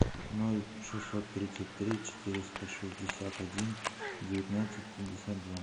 ноль шестьсот тридцать три четыреста шестьдесят один девятнадцать пятьдесят два